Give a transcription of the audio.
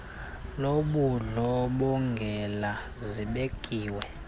lobundlo bongela zibekiwe